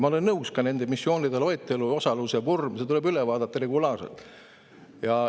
Ma olen nõus, et nende missioonide loetelu ja osaluse vorm tuleb regulaarselt üle vaadata.